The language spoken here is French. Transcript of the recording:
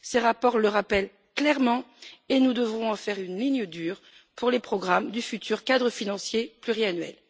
Ces rapports le rappellent clairement et nous devrons en faire une ligne dure pour les programmes du futur cadre financier pluriannuel.